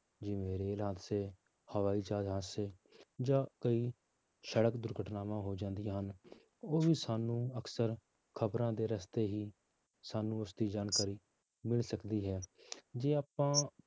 ਜਿਵੇਂ ਰੇਲ ਹਾਦਸੇ, ਹਵਾਈ ਜਹਾਜ਼ ਹਾਦਸੇ ਜਾਂ ਕਈ ਸੜਕ ਦੁਰਘਟਨਾਵਾਂ ਹੋ ਜਾਂਦੀਆਂ ਹਨ, ਉਹ ਵੀ ਸਾਨੂੰ ਅਕਸਰ ਖ਼ਬਰਾਂ ਦੇ ਰਸਤੇ ਹੀ ਸਾਨੂੰ ਉਸਦੀ ਜਾਣਕਾਰੀ ਮਿਲ ਸਕਦੀ ਹੈ ਜੇ ਆਪਾਂ